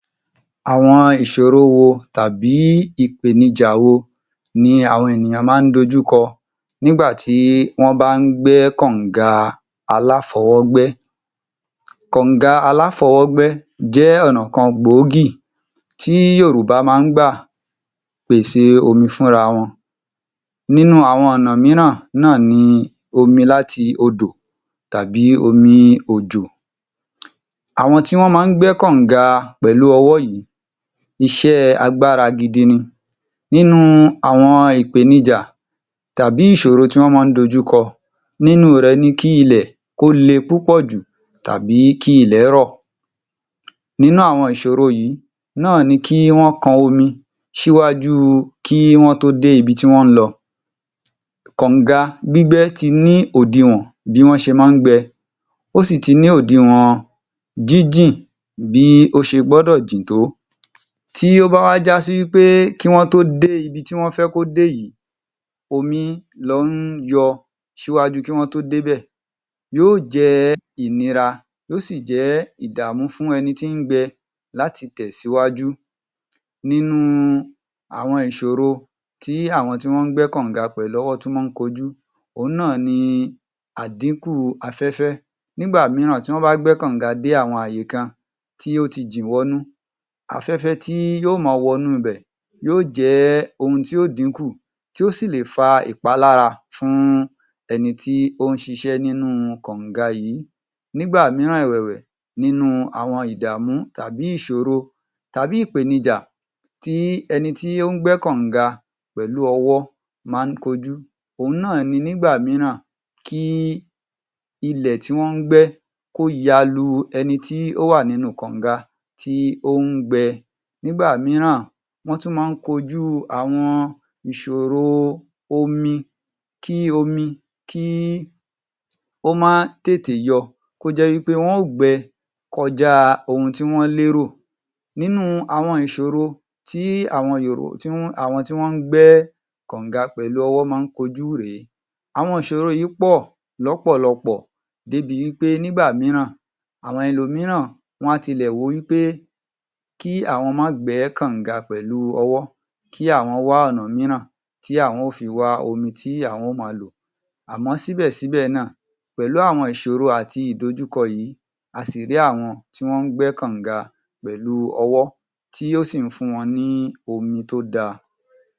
Àwọn ìṣòro wo tàbí ìpènijà wo ni àwọn ènìyàn máa ń dojúkọ nígbà tí wọ́n bá ń gbẹ́ kọ̀nga aláfọwọ́gbẹ́? Kọ̀nga aláfọwọ́gbẹ́ jẹ́ ọ̀nà kan gbòógì tí Yorùbá máa ń gbà pèsè omi fúnra wọn, nínú àwọn ọ̀nà mìíràn náà ni omi láti odo tàbí omi òjò. Àwọn tí wọ́n máa ń gbẹ́ kọ̀nga pẹ̀lú ọwọ́ yìí, iṣẹ́ agbára gidi ni, nínú àwọn ìpènija tàbí ìṣorò tí wọ́n máa ń dojúkọ nínú rẹ̀ ní kí ilẹ̀ kó le púpọ̀ jù tàbí kí ilẹ̀ rọ̀, inú àwọn ìṣòro yìí náà ni kí wọ́n kan omi ṣíwájú kí wọ́n tó dé ibi tí wọ́n ń lọ, kọ̀nga gbígbẹ́ ti ní òdiwọ̀n bí wọ́n ṣe máa ń gbẹ, ó sì ti ní òdiwọ̀n jínjìn bí ó ṣe gbọ́dọ̀ jìn tó, tí ó bá wá já si wí pé kí wọ́n tó dé ibi tí wón fẹ́ kó dé yìí, omi lọ ń yọ ṣíwájú kí wọ́n tó dé bẹ̀, yóò jẹ́ ìnira, yóò sì jẹ́ ìdàmú fún ẹni tí ń gbẹ láti lè tẹ̀síwájú. Nínú àwọn ìṣoro tí àwọn tí wọ́n gbẹ́ kọ̀nga pẹ̀lú ọwọ́ tún máa ń kojú, òun náà ni àdínkù afẹ́fẹ́ - nígbà mìíràn tí wọ́n bá gbẹ́ kọ̀nga dé àwọn àyíká tí ó ti jìn wọnú, afẹ́fẹ́ tí yóò máa wọnú bẹ̀ yóò jẹ́ ohun tí yóò dínkù, tí ó sì le fa ìpálára fún ẹni tí ó ń ṣiṣẹ́ nínú kọ̀nga yìí, nígbà mìíràn ẹ̀wẹ̀wẹ̀, nínú àwọn ìdàmú tàbí ìṣòro tàbí ìpènijà tí ẹni tí ó ń gbẹ́ kọ̀nga pẹ̀lú ọwọ́ máa ń kojú, òun náà ni nígbà mìíràn kí ilẹ̀ tí wọ́n gbẹ́ kó ya lu ẹni tí ó wà nínú kọ̀nga tí ó ń gbẹ. Nígbà mìíràn wọ́n tún máa ń kojú àwọn ìṣòro omi, kí omi kí ó máa tètè yọ, kó jẹ́ wí pé wọ́n o gbẹ kọjá ohun tí wọ́n lérò. Nínú àwọn ìṣòro tí àwọn àwọn ti wọ́n gbẹ́ kọ̀nga pẹ̀lú ọwọ́ máa ń kojú rè é. Àwọn ìṣòro yìí pọ̀ lọ́pọ̀lọpọ̀ débi wí pé nígbà mìíràn, àwọn ẹlòmíràn wá ti lẹ̀ rò wí pé kí àwọn máa gbẹ́ kọ̀nga pẹ̀lú ọwọ́, kí àwọn wá ọ̀nà mìíràn tí àwọn ó fi wá omi tí àwọn ó máa lò àmọ́ síbẹ̀ síbẹ̀ náà pẹ̀lú àwọn ìsòro àti ìdójúko yìí, a sì rí àwọn tí wọ́n gbẹ́ kọ̀nga pẹ̀lú ọwọ́ tí ó sì ń fún wọn ní omi tó da.